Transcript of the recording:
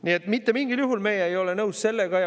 Nii et mitte mingil juhul ei ole meie sellega nõus.